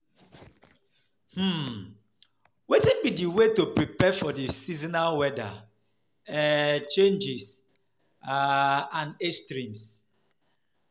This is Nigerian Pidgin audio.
um Wetin be di way to prepare for di seasonal weather um changes um and extremes?